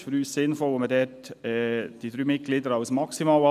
Es ist für uns sinnvoll, wenn man dort die drei Mitglieder als maximal anschaut.